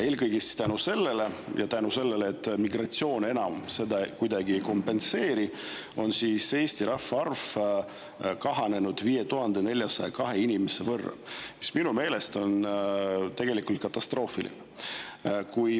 Eelkõige selle tõttu ja ka selle tõttu, et migratsioon enam seda kuidagi ei kompenseeri, on Eesti rahvaarv kahanenud 5402 inimese võrra, mis minu meelest on katastroofiline.